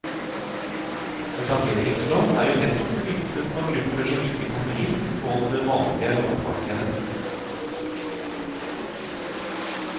Etableringslån er jo nettopp myntet på grupper som ikke kommer inn på det vanlige lånemarkedet.